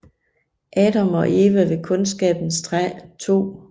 Adam og Eva ved Kundskabens træ 2